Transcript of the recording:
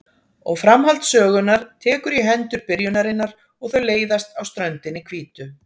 Og framhald sögunnar tekur í hendur byrjunarinnar og þau leiðast á ströndinni hvítu.